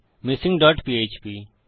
missing dot PHP